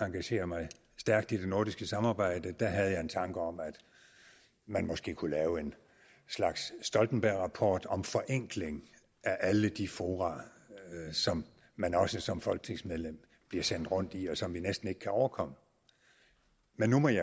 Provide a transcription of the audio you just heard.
engagere mig stærkt i det nordiske samarbejde havde jeg en tanke om at man måske kunne lave en slags stoltenbergrapport om forenkling af alle de fora som man også som folketingsmedlem bliver sendt rundt i og som vi næsten ikke kan overkomme men nu må jeg